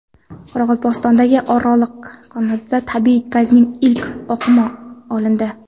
Qoraqalpog‘istondagi Oraliq konida tabiiy gazning ilk oqimi olindi.